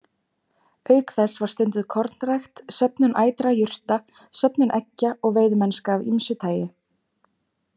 Auk þess var stunduð kornrækt, söfnun ætra jurta, söfnun eggja og veiðimennska af ýmsu tagi.